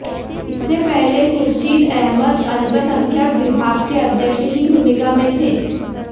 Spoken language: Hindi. इससे पहले खुर्शीद अहमद अल्पसंख्यक विभाग के अध्यक्ष की भूमिका में थे